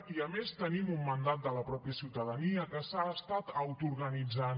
i a més tenim un mandat de la mateixa ciutadania que s’ha autoorganitzat